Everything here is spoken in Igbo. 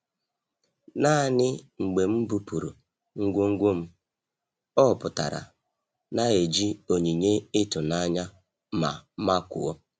Naanị mgbe m bupụrụ ngwongwo m, ọ pụtara na-eji onyinye ịtụnanya ma makụọ.